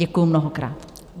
Děkuji mnohokrát.